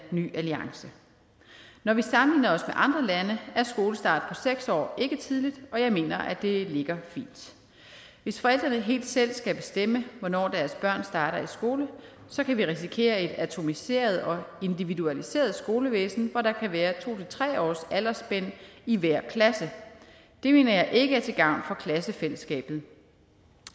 ny alliance når vi sammenligner os med andre lande er en skolestart på seks år ikke tidligt og jeg mener at det ligger fint hvis forældrene helt selv skal bestemme hvornår deres børn starter i skole så kan vi risikere et atomiseret og individualiseret skolevæsen hvor der kan være to tre års aldersspænd i hver klasse det mener jeg ikke er til gavn for klassefællesskabet